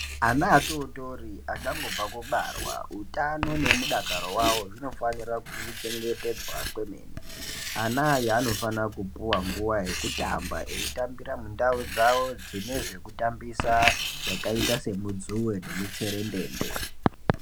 Ana atotori achangobva kubarwa utano nemudakaro wavo zvinofanira kuchengetedzwa kwemene. Ana aya anofana kupuwa nguwa yekutamba eyitambire ndau dzine zvekutambisa zvakaita semudzuwe nemutserendende.